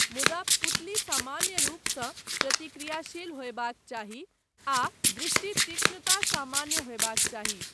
मुदा, पुतली सामान्य रूपसँ प्रतिक्रियाशील होयबाक चाही, आ दृष्टि तीक्ष्णता सामान्य होयबाक चाही।